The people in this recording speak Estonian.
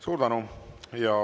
Suur tänu!